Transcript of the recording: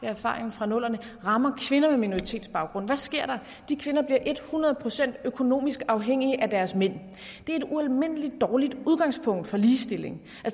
erfaringen fra nullerne rammer kvinder med minoritetsbaggrund hvad sker der de kvinder bliver et hundrede procent økonomisk afhængige af deres mænd det er et ualmindelig dårligt udgangspunkt for ligestilling